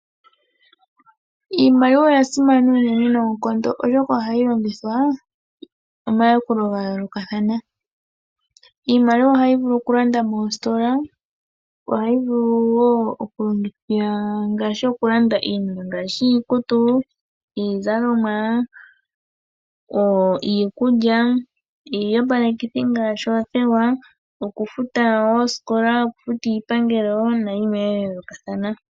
Iimaliwa oya simana uunene noonkondo oshoka ohayi longithwa omayakulo ga yoolokathana. Iimaliwa ohayi vulu ku landa moositola ohayi vulu wo oku longitha ngaashi oku landa iinima ngaashi iikutu, iizaloma , iikulya, iiyopalekithi ngaashi othewa, oku futa oosikola, oku futa iipangeli nayimwe yayolokathana.